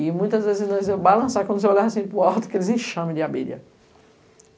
E, muitas vezes, nós iamos balançar, quando você olhava assim para o alto, aqueles enxames de abelha.